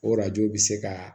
Orajo bɛ se ka